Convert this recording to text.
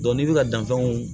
n'i bɛ ka danfɛnw